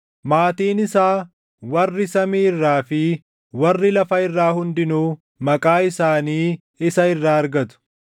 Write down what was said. maatiin isaa warri samii irraa fi warri lafa irraa hundinuu maqaa isaanii isa irraa argatu.